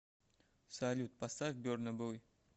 салют поставь берна бой